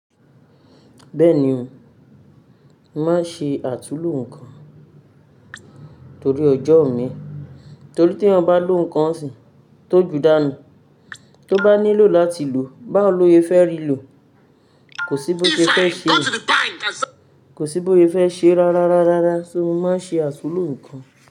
Bẹ́ẹ̀ni o, má ṣe àtúlló nǹkan torí ọjọ́ òní, torí tí ẹ bá lò nǹkan sí tó ju dànù tó bá nílò láti lò bá ò lóye fẹ́ rí lò kò sí bóyé fẹ́ ṣe, kò sí bóyé fẹ́ ṣe rárá, rárá, rárá. Ṣé mo má ṣe àtúlló nnkan?